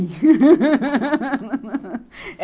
eh